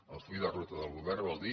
el full de ruta del govern vol dir